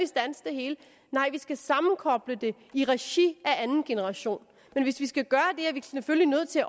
standse det hele nej vi skal sammenkoble det i regi af anden generation men hvis vi skal gøre det er vi selvfølgelig nødt til